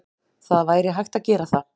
Það væri hægt að gera það.